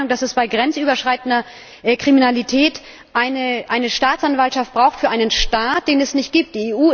Sind Sie der Meinung, dass es bei grenzüberschreitender Kriminalität eine Staatsanwaltschaft braucht für einen Staat, den es nicht gibt?